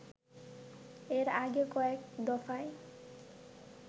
এর আগে কয়েক দফায়